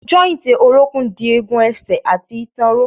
Jọ́ìntì orókún dì egun ẹsẹ̀ àti ìtàn ró.